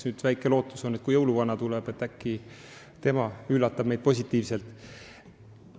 Nüüd on väike lootus, et kui jõuluvana tuleb, siis äkki tema üllatab meid positiivselt.